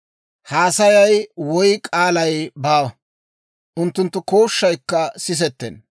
Haasayi woy k'aalay baawa; unttunttu kooshshaykka sisettenna.